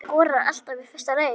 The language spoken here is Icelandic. Skorar alltaf í fyrsta leik